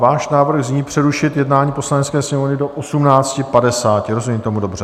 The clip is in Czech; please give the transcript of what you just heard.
Váš návrh zní přerušit jednání Poslanecké sněmovny do 18.50, rozumím tomu dobře?